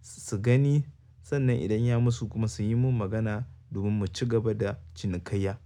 su gani sannan idan ya musu kuma su yi min magana domin mu ci gaba da cinikayya.